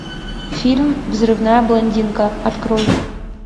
фильм взрывная блондинка открой